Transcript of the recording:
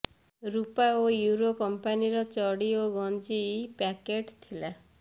ରୁପା ଓ ୟୁରୋ କମ୍ପାନିର ଚଡ଼ି ଓ ଗଞ୍ଜି ପ୍ୟାକେଟ୍ ଥିଲା